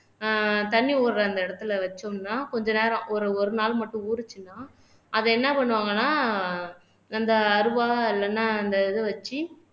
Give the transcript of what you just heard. ஆஹ் தண்ணி ஓடுற அந்த இடத்துல வச்சோம்ன்னா கொஞ்ச நேரம் ஒரு ஒரு நாள் மட்டும் ஊறுச்சுன்னா அதை என்ன பண்ணுவாங்கன்னா அந்த அருவா இல்லைன்னா அந்த இதை வச்சு